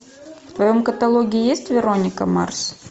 в твоем каталоге есть вероника марс